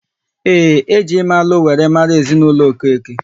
Ee, e ji ime alụ wéré mara ezinaụlọ Okeke